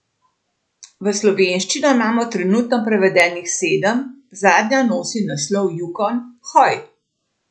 V slovenščino imamo trenutno prevedenih sedem, zadnja nosi naslov Jukon, hoj!